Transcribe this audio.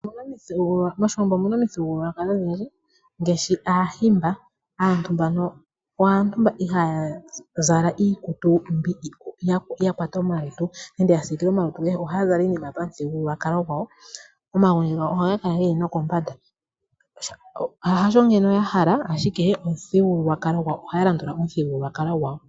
MOshiwambo omu na omithigululwakalo odhindji ngaashi Aahimba. Aantu mbaka aantu mboka ihaaya zala iikutu mbyoka ya kwata omalutu nenge ya siikila omalutu. Ohaya zala iinima pamuthigululwakalo gwawo, omagundji gawo ohaga kala ge li nokombanda. Hasho ando ya hala, ashike ohaya landula omuthigululwakalo gwawo.